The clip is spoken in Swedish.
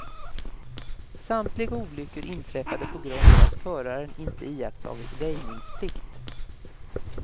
Samtliga olyckor inträffade på grund av att föraren inte iakttagit väjningsplikt.